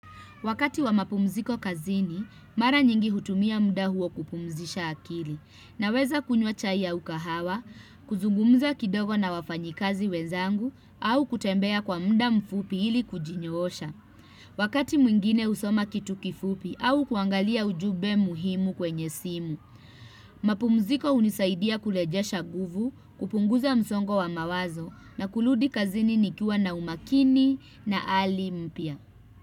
Wakati wa mapumziko kazini, mara nyingi hutumia muda huo kupumzisha akili naweza kunywa chai au kahawa, kuzungumza kidogo na wafanyikazi wezangu au kutembea kwa muda mfupi hili kujinyoosha. Wakati mwingine husoma kitu kifupi au kuangalia ujube muhimu kwenye simu. Mapumziko hunisaidia kurejesha nguvu, kupunguza msongo wa mawazo na kurudi kazini nikiwa na umakini na hali mpya.